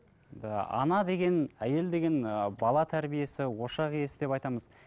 ыыы ана деген әйел деген ііі бала тәрбиесі ошақ иесі деп айтамыз